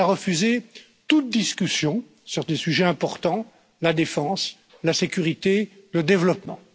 D'abord, il a refusé toute discussion sur des sujets importants, la défense, la sécurité, le développement.